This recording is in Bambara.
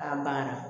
An banna